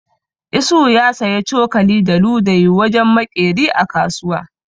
Isuhu zai saya cokali da ludayi wurin maƙeri a kasuwa.